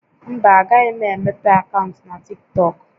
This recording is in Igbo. Mba, agaghị m emepe akaụntụ na TikTọk